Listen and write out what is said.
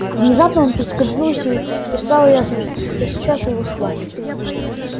внезапно он поскользнулся и стало ясно что сейчас его схватят